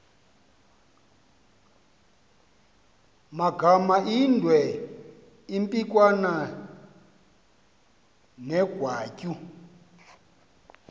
magamaindwe impikwana negwatyu